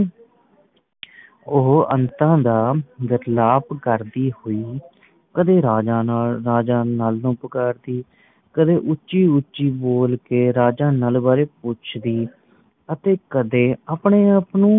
ਉਹ ਅੰਤਾਂ ਦਾ ਵਿਰਲਾਪ ਕਰਦੀ ਹੋਈ ਕਦੇ ਰਾਜਾ ਨੱਲ ਰਾਜਾ ਨੱਲ ਨੂੰ ਪੁਕਾਰਦੀ ਕਦੇ ਉੱਚੀ ਉੱਚੀ ਬੋਲ ਕੇ ਰਾਜਾ ਨੱਲ ਬਾਰੇ ਪੁੱਛਦੀ ਅਤੇ ਕਦੇ ਆਪਣੇ ਆਪ ਨੂੰ